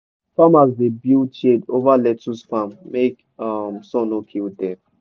farmers dey build shade over lettuce farm make um sun no kill dem.